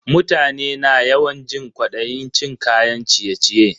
Mutane na yawan jin kwadayin cin kayan ciye-ciye.